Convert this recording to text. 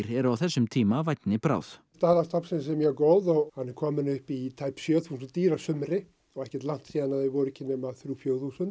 eru á þessum tíma vænni bráð staða stofnsins er mjög góð og hann er kominn upp í tæp sjö þúsund dýr að sumri og ekkert langt síðan þau voru ekki nema þrjú til fjögur þúsund